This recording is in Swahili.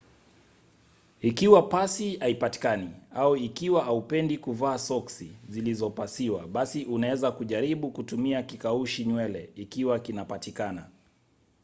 ikiwa pasi haipatikani au ikiwa hupendii kuvaa soksi zilizopasiwa basi unaweza kujaribu kutumia kikaushi nywele ikiwa kinapatikana